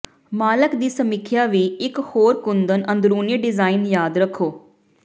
ਮਾਲਕ ਦੀ ਸਮੀਖਿਆ ਵੀ ਇੱਕ ਹੋਰ ਕੁੰਦਨ ਅੰਦਰੂਨੀ ਡਿਜ਼ਾਇਨ ਯਾਦ ਰੱਖੋ